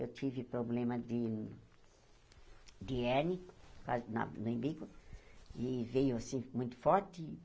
Eu tive problema de de hérnia, quase na no umbigo, e veio assim muito forte.